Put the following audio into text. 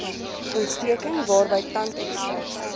ontsteking waarby tandekstraksie